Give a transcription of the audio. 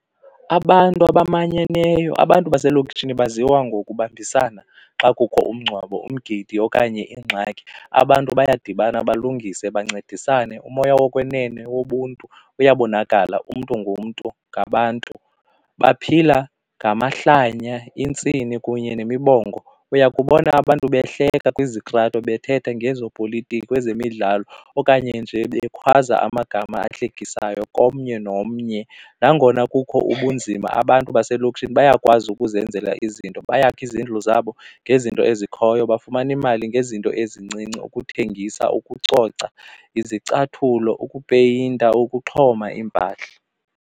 Abantu amanyeneyo abantu baselokishini baziwa ngokubambisana xa kukho umngcwabo, umgidi okanye iingxaki abantu bayadibana balungise bancedisane umoya wokwenene wobuntu uyabonakala umntu ngumntu ngabantu. Baphila ngamahlanya, intsini kunye nemibongo. Uyakubona abantu behleka kwizitrato bethetha ngezopolitiko, kwezemidlalo okanye nje bekhwaza amagama ahlekisayo komnye nomnye. Nangona kukho ubunzima abantu baselokishini bayakwazi ukuzenzela izinto, bayakha izindlu zabo ngezinto ezikhoyo bafumana imali ngezinto ezincinci ukuthengisa, ukucoca, izicathulo, ukupeyinta, ukuxhoma iimpahla.